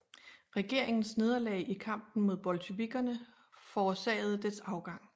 Regeringens nederlag i kampen mod bolsjevikkerne forårsagede dets afgang